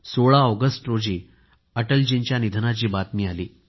16 August रोजी अटलजींच्या निधनाची बातमी आली